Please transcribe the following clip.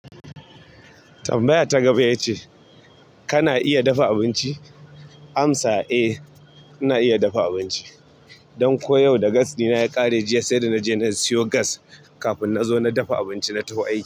Tambaya ta gaba ya ce kana iya dafa abinci? Amsa, eh ina iya dafa abinci. Ɗan ko yau da gas ɗina ya ƙare jiya sai da naje nayi siyo gas kafum na zo na dafa abinci na tawo aiki.